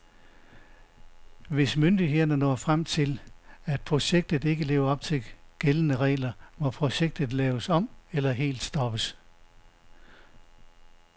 Hvis myndighederne når frem til, at projektet ikke lever op til gældende regler, må projektet laves om eller helt stoppes.